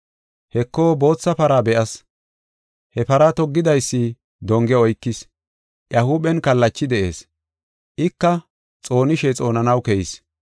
Heko bootha para be7as. He para toggidaysi donge oykis; iya huuphen kallachi de7ees. Ika xoonishe xoonanaw keyis.